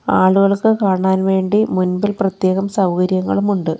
ആളുകൾക്ക് കാണാൻ വേണ്ടി മുൻപിൽ പ്രത്യേകം സൗകര്യങ്ങളുമുണ്ട്.